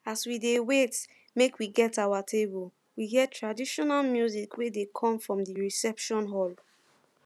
as we dey wait make we get our table we hear traditional music wey dey come from di reception hall